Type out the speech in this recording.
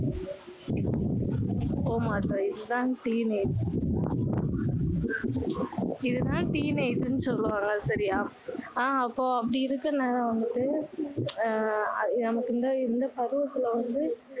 போகமாட்டோம் இது தான் teenage இது தான் teenage ன்னு சொல்லுவாங்க சரியா ஆஹ் அப்போ அப்படி இருக்கிறதுனால வந்துட்டு அஹ் நமக்கு வந்து இந்த பருவத்துல வந்து